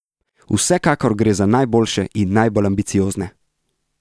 Vsekakor gre za najboljše in najbolj ambiciozne!